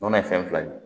Nɔnɔ ye fɛn fila ye